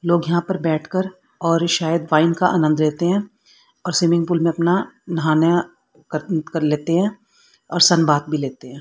लोग यहां पर बैठकर और शायद वाइन का आनंद लेते हैं और स्विमिंग पूल में अपना नहाना कर कर लेते हैं और सन बाथ भी लेते हैं।